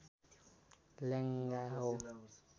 लेङ्गा हो